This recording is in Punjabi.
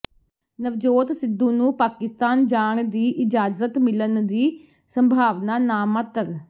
ਨਵਜੋਤ ਸਿੱਧੂ ਨੂੰ ਪਾਕਿਸਤਾਨ ਜਾਣ ਦੀ ਇਜਾਜ਼ਤ ਮਿਲਣ ਦੀ ਸੰਭਾਵਨਾ ਨਾਮਾਤਰ